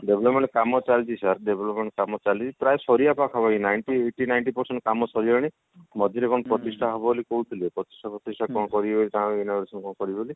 development କାମ ଚାଲିଛି sir development କାମ ଚାଲିଛି ପ୍ରାଏ ସାରିବା ପାଖାପାଖି ninety eighty ninety percent କାମ ସରିଗଲାଣି ମଝିରେ କଣ ପ୍ରତିଷ୍ଠା ହବ ବୋଲି କହୁଥିଲେ ପ୍ରତିଷ୍ଠା କଣ କରିବେ ତାଙ୍କର କରିବେ ବୋଲି